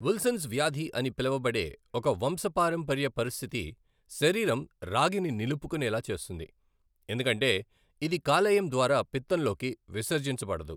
Wilson's వ్యాధి అని పిలువబడే ఒక వంశపారంపర్య పరిస్థితి శరీరం రాగిని నిలుపుకునేలా చేస్తుంది, ఎందుకంటే ఇది కాలేయం ద్వారా పిత్తంలోకి విసర్జించబడదు.